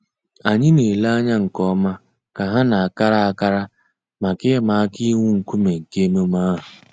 Ànyị̀ nà-èlè ànyà nke ǒmà kà hà nà-àkárà àkárà mǎká ị̀mà àkà íwụ̀ ńkùmé̀ nke emèmé́ àhụ̀.